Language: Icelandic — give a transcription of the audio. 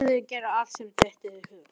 Þyrði að gera allt sem mér dytti í hug.